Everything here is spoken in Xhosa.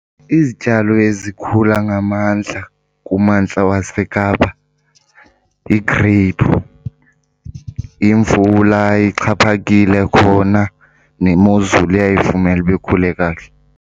Izityalo ezikhula ngamandla kummandla waseKapa yi-grape. Imvula ixhaphakile khona nemozulu iyayivumela uba ikhule kakuhle.